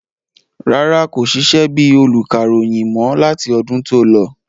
Rárá, kò sisẹ́ bíi olùkàròyìn mọ́ láti ọdún tó lọ